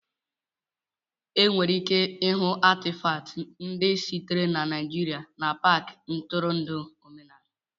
Enwere ike ịhụ Atịfatị ndị sitere na Naijiria n'Paakị ntụrụndụ omenala